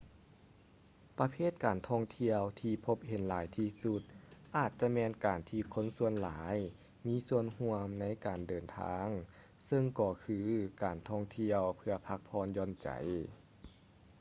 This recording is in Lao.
ປະເພດການທ່ອງທ່ຽວທີ່ພົບເຫັນຫຼາຍທີ່ສຸດອາດຈະແມ່ນການທີ່ຄົນສ່ວນຫຼາຍມີສ່ວນຮ່ວມໃນການເດີນທາງເຊິ່ງກໍຄື ການທ່ອງທ່ຽວເພື່ອພັກຜ່ອນຢ່ອນໃຈ